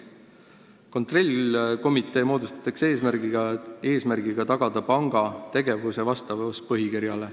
Kontrollkomitee moodustatakse eesmärgiga tagada panga tegevuse vastavus põhikirjale.